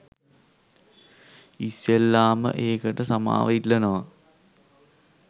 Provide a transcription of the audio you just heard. ඉස්සෙල්ලාම ඒකට සමාව ඉල්ලනවා